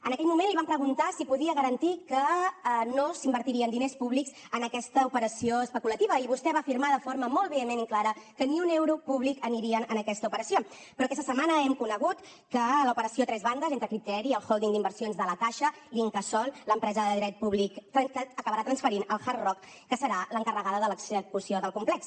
en aquell moment li vam preguntar si podia garantir que no s’invertirien diners públics en aquesta operació especulativa i vostè va afirmar de forma molt vehement i clara que ni un euro públic aniria a aquesta operació però aquesta setmana hem conegut que l’operació a tres bandes entre criteria el hòlding d’inversions de la caixa i l’incasòl l’empresa de dret públic acabarà transferint los al hard rock que serà l’encarregada de l’execució del complex